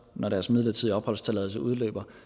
når deres midlertidige opholdstilladelse udløber